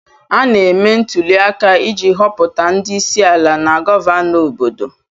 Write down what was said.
Ana eme ntụliaka iji họpụta ndị isiala na gọvanọ obodo.